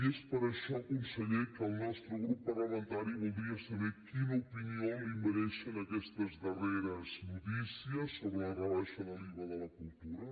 i és per això conseller que el nostre grup parlamentari voldria saber quina opinió li mereixen aquestes darreres notícies sobre la rebaixa de l’iva de la cultura